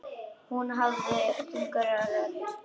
Hún hafði þunga rödd.